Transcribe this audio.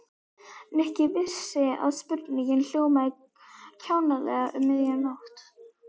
Nikki vissi að spurningin hljómaði kjánalega um miðja nótt.